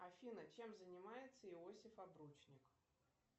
афина чем занимается иосиф обручник